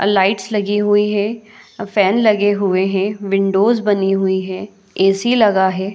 आ lights लगी हुई है अ फैन लगे हुई है विंडोज बनी हुई है ऐ_सी लगा है।